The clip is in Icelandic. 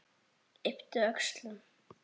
Ypptir öxlum.